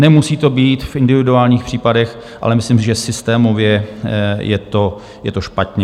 Nemusí to být v individuálních případech, ale myslím, že systémově je to špatně.